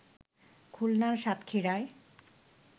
খুলনার সাতক্ষীরায়